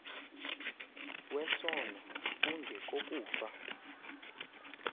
wesono unge kokufa